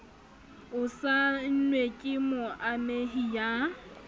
o saennwe ke moamehi ya